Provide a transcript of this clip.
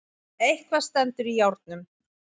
Eitthvað stendur í járnum